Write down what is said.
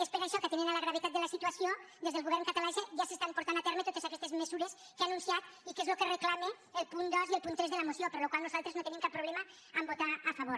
és per això que atenent la gravetat de la situació des del govern català ja es porten a terme totes aquestes mesures que ha anunciat i que és el que reclamen el punt dos i el punt tres de la moció per la qual cosa nosaltres no tenim cap problema a votar hi a favor